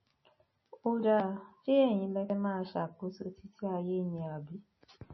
ó dáa ṣe ẹyin lẹ fẹẹ máa ṣàkóso títí ayé ni àbí